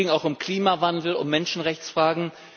Es ging auch um Klimawandel und Menschenrechtsfragen.